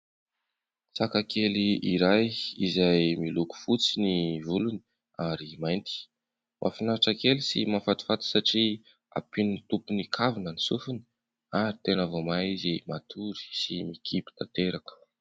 Saka kely iray izay miloko fotsy ny volony ary mainty. Mahafinaritra kely sy mahafatifaty satria ampian'ny tompony kavina ny sofiny ary tena vao mahay izy matory sy mikipy tanteraka.